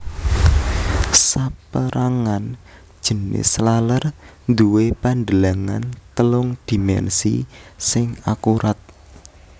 Sapérangan jinis laler duwé pandelengan telung dhimènsi sing akurat